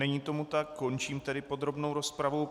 Není tomu tak, končím tedy podrobnou rozpravu.